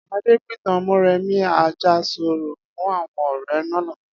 Adé pìtàn Mó̩rèmí Àjàsorò fún àwo̩n ò̩ré̩ lánàá